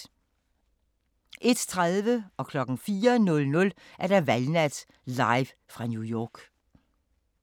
01:30: Valgnat live fra New York 04:00: Valgnat live fra New York